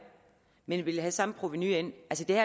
ville vi have fået samme provenu ind